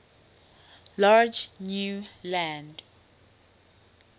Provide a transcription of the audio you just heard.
large new land